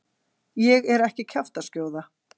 Ég er ekki kjaftaskjóða.